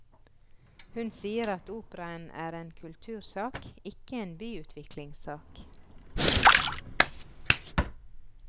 Hun sier at operaen er en kultursak, ikke en byutviklingssak.